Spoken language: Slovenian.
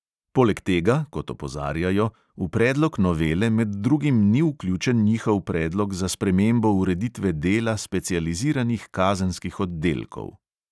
Poleg tega, kot opozarjajo, v predlog novele med drugim ni vključen njihov predlog za spremembo ureditve dela specializiranih kazenskih oddelkov.